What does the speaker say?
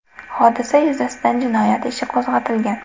Hodisa yuzasidan jinoyat ishi qo‘zg‘atilgan.